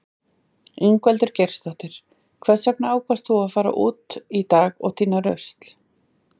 Ingveldur Geirsdóttir: Hvers vegna ákvaðst þú að fara út í dag og týna rusl?